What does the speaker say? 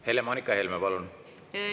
Helle-Moonika Helme, palun!